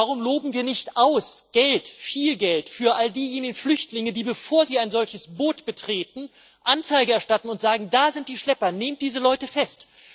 Warum loben wir nicht Geld viel Geld für all diejenigen Flüchtlinge aus, die, bevor sie ein solches Boot betreten, Anzeige erstatten und sagen Da sind die Schlepper nehmt diese Leute fest.